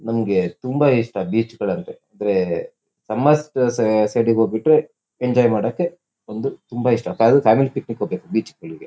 ನಮಗೆ ತುಂಬಾ ಇಷ್ಟ ಬೀಚಗಳ್ ಅಂದರೆ ಅಂದ್ರೆ ಸಮಸ್ಟ್ ಸೈಡ್ ಹೋಗ್ಬಿಟ್ಟ ರೆ ಎಂಜಾಯ್ ಮಾಡೋಕೆ ವೊಂದು ತುಂಬ ಇಷ್ಟ ಅದು ಫ್ಯಾಮಿಲಿ ಪಿಕ್ನಿಕ್ ಹೋಗ್ಬೇಕು ಬೀಚ್ಗಳಿಗೆ .